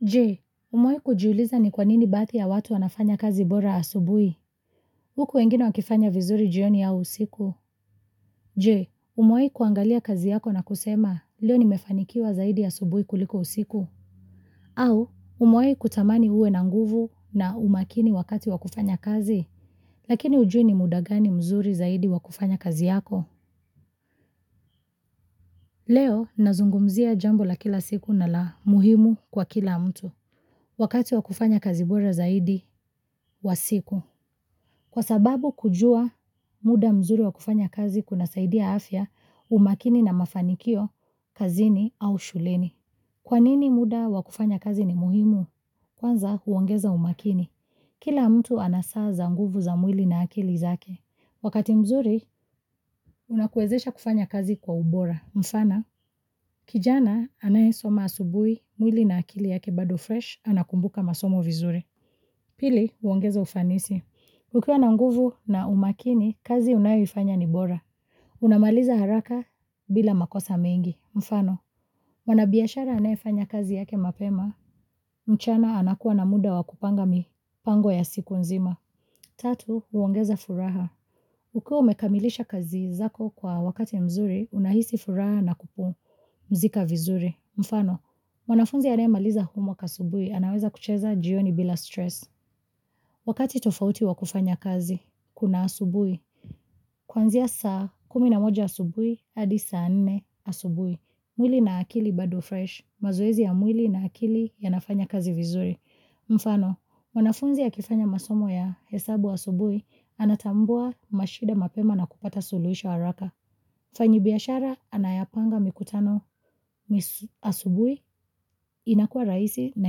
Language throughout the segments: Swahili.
Je, umewahi kujiuliza ni kwa nini baadhi ya watu wanafanya kazi bora asubuhi? Huku wengine wakifanya vizuri jioni au usiku. Je, umewahi kuangalia kazi yako na kusema, leo ni mefanikiwa zaidi asubuhi kuliko usiku? Au, umewahi kutamani uwe na nguvu na umakini wakati wa kufanya kazi? Lakini hujui ni muda gani mzuri zaidi wa kufanya kazi yako. Leo, nazungumzia jambo la kila siku na la muhimu kwa kila mtu. Wakati wa kufanya kazi bora zaidi, wa siku. Kwa sababu kujua muda mzuri wa kufanya kazi kunasaidia afya, umakini na mafanikio, kazini au shuleni. Kwa nini muda wa kufanya kazi ni muhimu? Kwanza, huongeza umakini. Kila mtu anasaa za nguvu za mwili na akili zake. Wakati mzuri, unakuwezesha kufanya kazi kwa ubora. Mfano, kijana anayesoma asubuhi, mwili na akili yake bado fresh, anakumbuka masomo vizuri. Pili, uongeza ufanisi. Ukiwa na nguvu na umakini, kazi unayoifanya ni bora. Unamaliza haraka bila makosa mengi. Mfano, mwanabiashara anayefanya kazi yake mapema, mchana anakuwa na muda wa kupanga mipango ya siku nzima. Tatu, huongeza furaha. Ukiwa umekamilisha kazi zako kwa wakati mzuri, unahisi furaha na kupumzika vizuri. Mfano, mwanafunzi anayamaliza homework asubuhi, anaweza kucheza jioni bila stress. Wakati tofauti wa kufanya kazi, kuna asubuhi. Kuanzia saa kumi na moja asubuhi, hadi saa nne asubuhi. Mwili na akili bado fresh. Mazoezi ya mwili na akili yanafanya kazi vizuri. Mfano, mwanafunzi akifanya masomo ya hesabu asubuhi, anatambua mashida mapema na kupata suluhisho haraka. Mfanyibiashara anayepanga mikutano asubuhi inakua rahisi na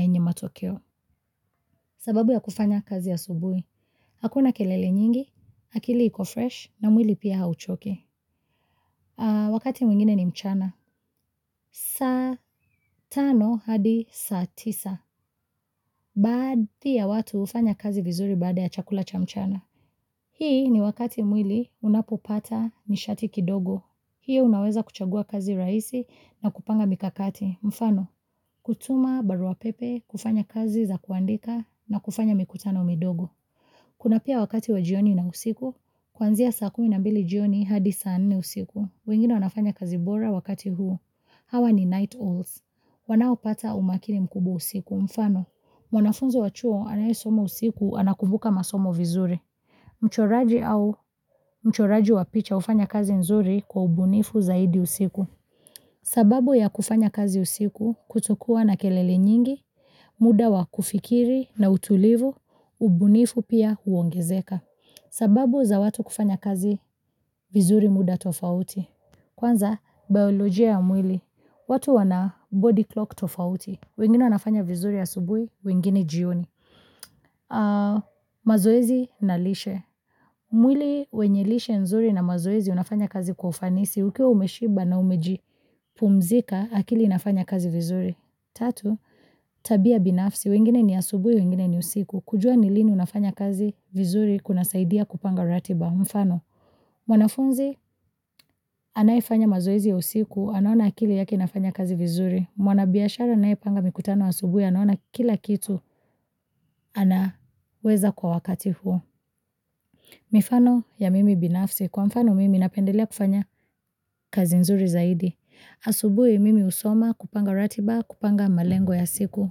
yenye matokeo. Sababu ya kufanya kazi asubui. Hakuna kelele nyingi, akili iko fresh na mwili pia hauchoki. Wakati mwingine ni mchana. Saa tano hadi saa tisa. Baadhi ya watu hufanya kazi vizuri baada ya chakula cha mchana. Hii ni wakati mwili unapopata nishati kidogo. Hii unaweza kuchagua kazi rahisi na kupanga mikakati. Mfano, kutuma barua pepe, kufanya kazi za kuandika na kufanya mikutano midogo. Kuna pia wakati wa jioni na usiku, kuanzia saa kumi na mbili jioni hadi saa nne usiku. Wengine wanafanya kazi bora wakati huu. Hawa ni night owls. Wanaopata umakini mkubwa usiku. Mfano, mwanafunzi wa chuo anayesoma usiku anakumbuka masomo vizuri. Mchoraji au mchoraji wa picha hufanya kazi nzuri kwa ubunifu zaidi usiku. Sababu ya kufanya kazi usiku kutokuwa na kelele nyingi, muda wa kufikiri na utulivu, ubunifu pia huongezeka. Sababu za watu kufanya kazi vizuri muda tofauti. Kwanza, biolojia ya mwili. Watu wana body clock tofauti. Wengine wanafanya vizuri asubuhi, wengine jioni. Mazoezi na lishe. Mwili wenye lishe nzuri na mazoezi unafanya kazi kwa ufanisi. Ukiwa umeshiba na umejipumzika, akili inafanya kazi vizuri. Tatu, tabia binafsi. Wengine ni asubuhi, wengine ni usiku. Kujua ni lini unafanya kazi vizuri kuna saidia kupanga ratiba. Mfano, mwanafunzi anayefanya mazoezi ya usiku, anaona akili yake inafanya kazi vizuri. Mwanabiashara anayepanga mikutano asubuhi anaona kila kitu anaweza kwa wakati huo. Mifano ya mimi binafsi. Kwa mfano mimi napendelea kufanya kazi nzuri zaidi Asubuhi mimi husoma, kupanga ratiba, kupanga malengo ya siku.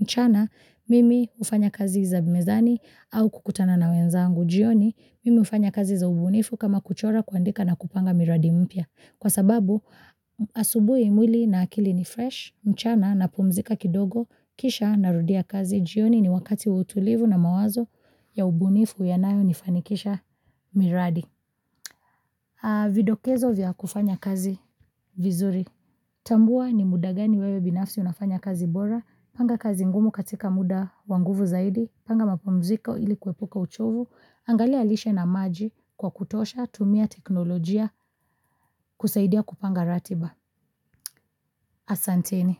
Mchana mimi hufanya kazi za mezani au kukutana na wenzangu. Jioni mimi hufanya kazi za ubunifu kama kuchora kuandika na kupanga miradi mpya. Kwa sababu asubuhi mwili na akili ni fresh mchana napumzika kidogo kisha narudia kazi. Jioni ni wakati wa utulivu na mawazo ya ubunifu yanayonifanikisha miradi. Vidokezo vya kufanya kazi vizuri. Tambua ni muda gani wewe binafsi unafanya kazi bora. Panga kazi ngumu katika muda wa nguvu zaidi. Panga mapumziko ili kuepuka uchovu. Angalia lishe na maji kwa kutosha. Tumia teknolojia kusaidia kupanga ratiba. Asanteni.